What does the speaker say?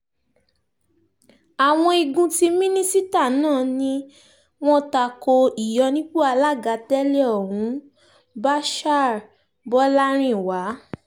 àwọn igun tí mínísítà náà ni wọ́n ta ko ìyọnipọ̀ alága tẹ́lẹ̀ ohun bashir bolarinwa